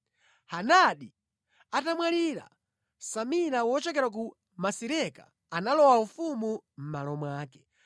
Hadadi atamwalira, Samila wochokera ku Masireka analowa ufumu mʼmalo mwake.